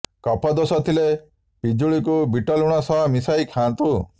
କଫ ଦୋଷ ଥିଲେ ପିଜୁଳିକୁ ବିଟଲୁଣ ସହ ମିଶାଇ ଖାଆନ୍ତୁ